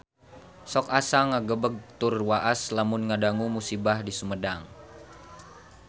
Sok asa ngagebeg tur waas lamun ngadangu musibah di Sumedang